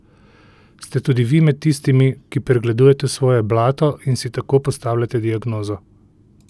Ste tudi vi med tistimi, ki pregledujete svoje blato in si tako postavljate diagnozo?